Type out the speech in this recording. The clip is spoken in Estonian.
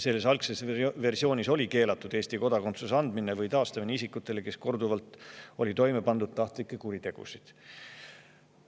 Selle algse versiooni järgi oli keelatud anda Eesti kodakondsus või taastada see isikutele, kes olid korduvalt toime pannud tahtlikke kuritegusid.